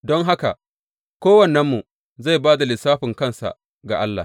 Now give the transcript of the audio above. Don haka kowannenmu zai ba da lissafin kansa ga Allah.